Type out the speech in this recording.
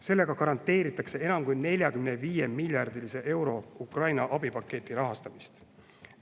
Sellega garanteeritakse enam kui 45 miljardi eurose Ukraina abipaketi rahastamist.